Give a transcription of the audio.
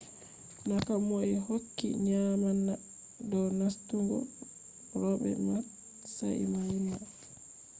na komoi hokki nyaamna dow nastungo ro’be matsayi mai ba